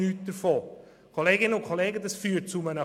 Das würde zu einem Chaos führen.